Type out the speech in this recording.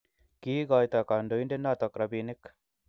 Kiikoito kandoinde noto robinik.